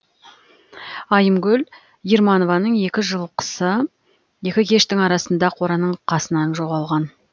айымгүл ерманованың екі жылқысы екі кештің арасында қораның қасынан жоғалған